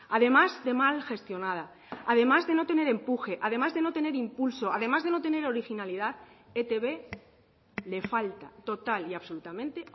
además de mal gestionada además de no tener empuje además de no tener impulso además de no tener originalidad a e i te be le falta total y absolutamente